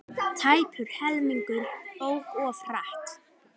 Tæpur helmingur ók of hratt